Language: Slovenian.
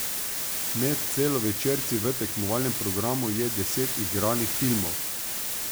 Med celovečerci v tekmovalnem programu je deset igranih filmov.